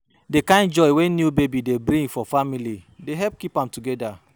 Di kind joy wey new baby dey bring for family dey help keep am together.